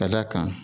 Ka d'a kan